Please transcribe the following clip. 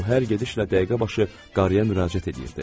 O hər gedişlə dəqiqəbaşı qarıya müraciət eləyirdi.